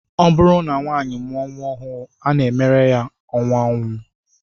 Ọ bụrụ na nwaanyị mụọ nnwa ọhụụ, a na-emere ya ọṅụ nnwa